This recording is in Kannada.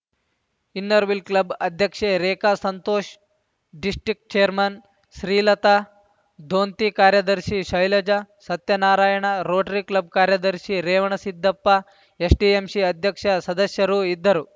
ಇನ್ನರ್‌ವ್ಹೀಲ್‌ ಕ್ಲಬ್‌ ಅಧ್ಯಕ್ಷೆ ರೇಖಾ ಸಂತೋಷ್‌ ಡಿಸ್ಟಿಕ್ಟ್ ಚೇರ್ಮನ್‌ ಶ್ರೀಲತಾ ದೊಂತಿ ಕಾರ್ಯದರ್ಶಿ ಶೈಲಜಾ ಸತ್ಯನಾರಾಯಣ ರೋಟರಿ ಕ್ಲಬ್‌ ಕಾರ್ಯದರ್ಶಿ ರೇವಣಸಿದ್ದಪ್ಪ ಎಸ್‌ಟಿಎಂಶಿ ಅಧ್ಯಕ್ಷ ಸದಸ್ಯರು ಇದ್ದರು